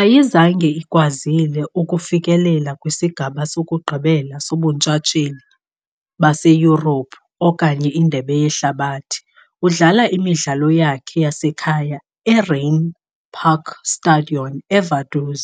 Ayizange ikwazile ukufikelela kwisigaba sokugqibela soBuntshatsheli baseYurophu okanye iNdebe yeHlabathi . Udlala imidlalo yakhe yasekhaya eRheinpark Stadion eVaduz,